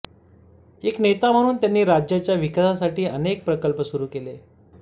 एक नेता म्हणून त्यांनी राज्याच्या विकासासाठी अनेक प्रकल्प सुरू केले